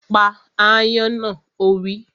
Pa ááyán náà! Ó wí